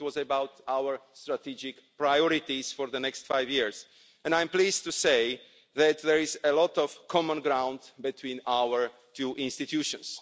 It was about our strategic priorities for the next five years and I am pleased to say that there is a lot of common ground between our two institutions.